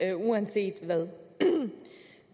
det uanset hvad